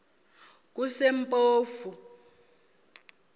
kusempofu